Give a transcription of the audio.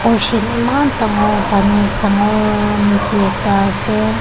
ocean eman dangor pani dangor nodi ekta ase.